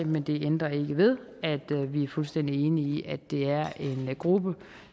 men det ændrer ikke ved at vi er fuldstændig enige i at det er en gruppe